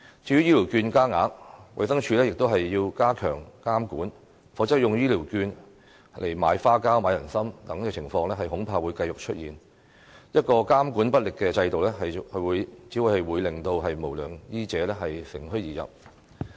至於醫療券加額，衞生署亦要加強監管，否則使用醫療券來買花膠、人參等情況恐怕會繼續出現，一個監管不力的制度，只會令無良醫者乘虛而入。